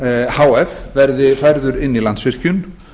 h f verði færður inn í landsvirkjun